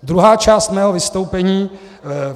Druhá část mého vystoupení.